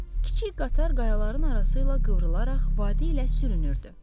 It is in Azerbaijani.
Kiçik qatar qayaların arasıyla qıvrılaraq vadi ilə sürünürdü.